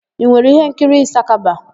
I nwere íhénkiri Ịsakaba?